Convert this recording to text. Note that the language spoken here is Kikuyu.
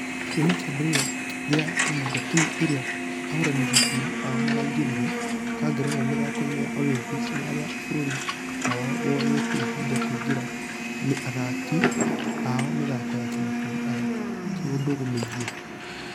Kuuma kĩambĩrĩria gĩa ihinda timũ iria ahũrani ngundi ao maraingĩra ....ka ngerenwa mĩthako-inĩ ya olympics nĩ arĩa bũrũri wao woyete ihinda kŭingĩria athaki ao mĩthako ya kĩmabũrũri ya kĩũndũgu mĩingĩ.